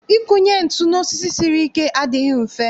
Ịkụnye ntụ n'osisi siri ike adịghị mfe